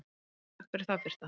Einar: Takk fyrir það Birta.